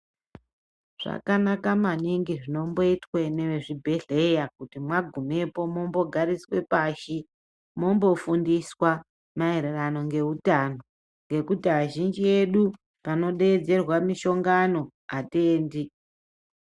Zvakanaka maningi zvinombo itwe neve chibhedhleya kuti magumepo mombo gariswe pashi mombo fundiswa maererano nge utano ngekuti azhinji edu pano dedzerwa mishongano atiendi.